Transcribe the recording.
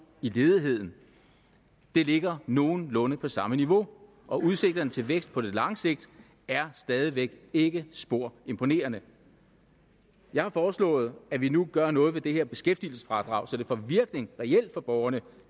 i ledigheden den ligger nogenlunde på samme niveau og udsigterne til vækst på det lange sigt er stadig væk ikke spor imponerende jeg har foreslået at vi nu gør noget ved det her beskæftigelsesfradrag så det får virkning reelt for borgerne